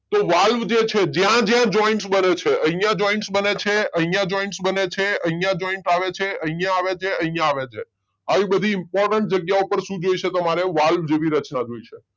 તો વાલ્વ જે છે જ્યાં જ્યાં જોઈન્ત્સ બને છે અહિયાં જોઈન્ત્સ બને છે, અહિયાં જોઈન્ત્સ બને છે, અહિયાં જોઈન્ત્સ આવે છે, અહિયાં આવે છે, અહિયાં આવે છે. આવી બધી ઈમ્પોર્તેન્ત જગ્યાએ તમને શું જોઇશે વાલ્વ જેવી રચના જોઈશે